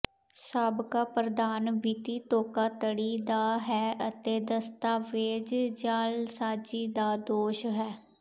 ਸਾਬਕਾ ਪ੍ਰਧਾਨ ਵਿੱਤੀ ਧੋਖਾਧੜੀ ਦਾ ਹੈ ਅਤੇ ਦਸਤਾਵੇਜ਼ ਜਾਅਲਸਾਜ਼ੀ ਦਾ ਦੋਸ਼ ਹੈ